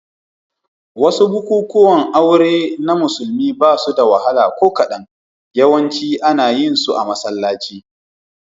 Wasu bukukuwan aure na musulmi ba suda wahala ko kadan, yawanci ana yin su a masallaci.